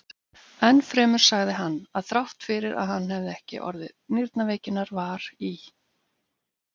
Enn fremur sagði hann, að þrátt fyrir að hann hefði ekki orðið nýrnaveikinnar var í